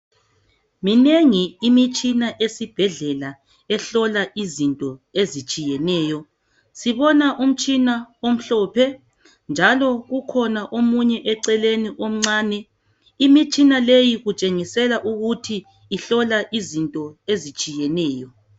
Minengi imitshina esibhedlela ehlola izinto ezitshiyeneyo. Sibona umtshina omhlophe njalo ukhona omunye eceleni omncane. Imitshina leyi itshengisela ukuthi ihlola izinto ezitshiyeneyo.